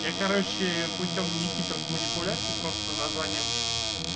я короче путём не хитрых манипуляций просто названием